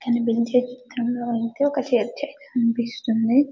కనిపించే చిత్రంలో అయితే ఒక చర్చ్ అయితే కనిపిస్తుంది .